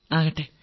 ആകട്ടെ